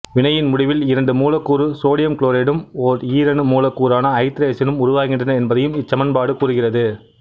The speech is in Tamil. வினையின் முடிவில் இரண்டு மூலக்கூறு சோடியம் குளோரைடும் ஓர் ஈரணு மூலக்கூறான ஐதரசனும் உருவாகின்றன என்பதையும் இச்சமன்பாடு கூறுகிறது